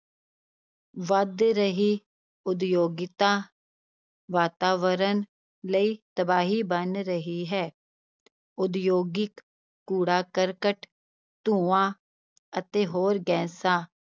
ਵੱਧ ਰਹੀ ਉਦਯੋਗਿਕਤਾ ਵਾਤਾਵਰਣ ਲਈ ਤਬਾਹੀ ਬਣ ਰਹੀ ਹੈ, ਉਦਯੋਗਿਕ ਕੂੜਾ-ਕਰਕਟ, ਧੂੰਆਂ ਅਤੇ ਹੋਰ ਗੈਸਾਂ